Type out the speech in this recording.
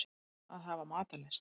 Að hafa matarlyst.